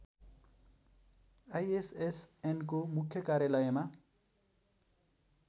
आईएसएसएनको मुख्य कार्यालयमा